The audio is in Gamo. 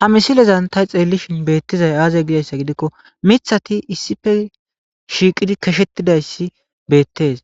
ha misilezan ta xeellishin beettizay aaze gidayssa gidikko mithati issippe shiiqidi keshettidayssi beettees